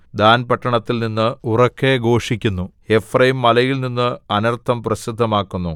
than‍ പട്ടണത്തില്‍ നിന്ന് ഉറക്കെ ഘോഷിക്കുന്നു എഫ്രയീംമലയിൽനിന്ന് അനർത്ഥം പ്രസിദ്ധമാക്കുന്നു